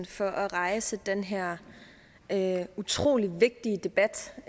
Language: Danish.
for at rejse den her utrolig vigtige debat